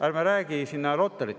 Ärme räägime siin Rotarytest.